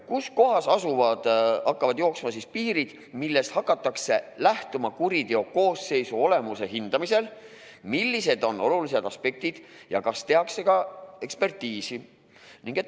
Kus kohas hakkavad jooksma piirid, millest hakatakse lähtuma kuriteokoosseisu olemuse hindamisel, millised on olulisemad aspektid ja kas tehakse ka ekspertiisi?